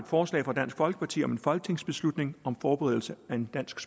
forslag fra dansk folkeparti om en folketingsbeslutning om forberedelse af en dansk